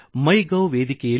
ನಲ್ಲಿ ಬರೆದಿದ್ದರು